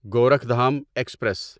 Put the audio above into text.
Gorakhdham express